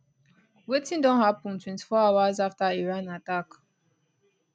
wetin don happun 24 hours afta iran attack